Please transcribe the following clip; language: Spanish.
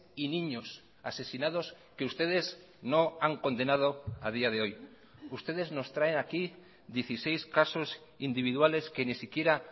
y niños asesinados que ustedes no han condenado a día de hoy ustedes nos traen aquí dieciséis casos individuales que ni siquiera